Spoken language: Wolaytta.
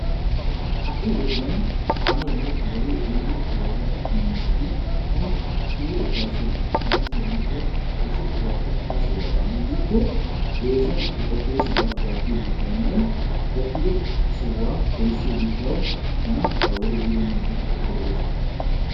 Ha'i wodiyan kaameene wodee ehiido oorata miishshati tana suure ufaysoosona. ayssi giikko issi sohuwappe hara sohuwa baana giikko eesuwan he qoppido sohuwa gattiyo gishawunne qoppidi suhowa hanisiyo gishawu tana ha wodee ehiido miishati lo'oosona.